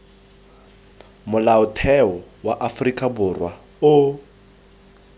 molaotheo wa aforika borwa o